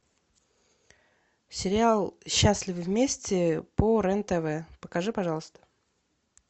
сериал счастливы вместе по рен тв покажи пожалуйста